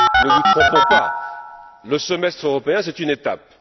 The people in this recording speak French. Ne nous trompons pas le semestre européen c'est une étape.